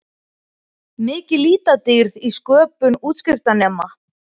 Mikil litadýrð í sköpun útskriftarnema